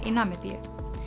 í Namibíu